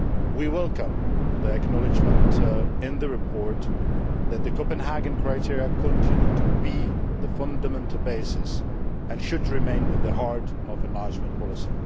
We welcome the acknowledgment in the report that the Copenhagen criteria continue to be the fundamental basis and should remain at the heart of enlargement policy.